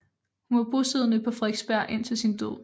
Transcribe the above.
Hun var bosiddende på Frederiksberg indtil sin død